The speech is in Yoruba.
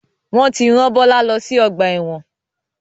Wọn tí ran Bọlá lọ sí ọgbà ẹ̀wọ̀n.